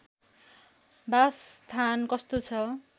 बासस्थान कस्तो छ